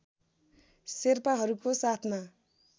शेर्पाहरूको साथमा